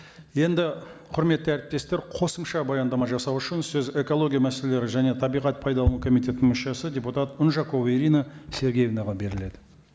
енді құрметті әріптестер қосымша баяндама жасау үшін сөз экология мәселелері және табиғат пайдалану комитетінің мүшесі депутат унжакова ирина сергеевнаға беріледі